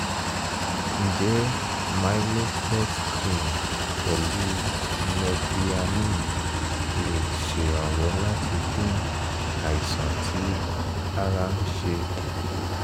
ǹjẹ́ mylocort cream pẹ̀lú mepryamine lè ṣèrànwọ́ láti dín àìsàn tí ara ń ṣe kù?